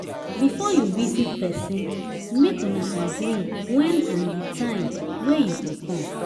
Bifor yu visit pesin mek una agree wen and di time wey yu go com